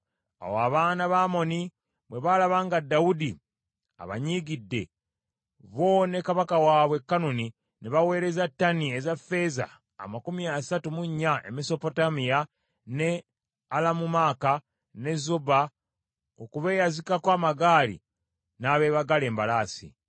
Awo abaana ba Amoni bwe baalaba nga Dawudi abanyiigidde; bo ne kabaka waabwe Kanuni ne baweereza ttani eza ffeeza amakumi asatu mu nnya e Mesopotamiya n’e Alamumaaka, ne Zoba, okubeyazikako amagaali n’abeebagala embalaasi.